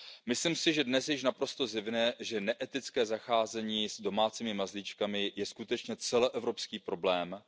a psů. Myslím si, že dnes je již naprosto zjevné, že neetické zacházení s domácími mazlíčky je skutečně celoevropský problém,